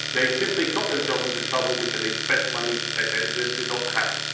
They simply got themselves into trouble because they spent money they did not have.